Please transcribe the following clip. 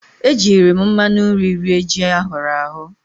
E jiiri m mmanụ nri rie ji ahụrụ ahụ.